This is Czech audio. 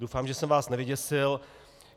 Doufám, že jsem vás nevyděsil.